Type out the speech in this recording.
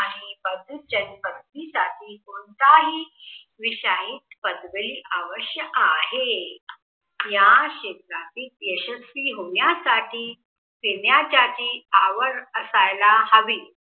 साठी कोणताही विषय आवश्यक आहे. या क्षेत्रातील यशस्वी होण्यासाठी फिरण्यासाठी आवड असायला हवी.